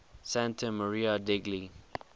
santa maria degli